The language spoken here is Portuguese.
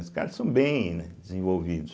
Os caras são bem, né, desenvolvidos.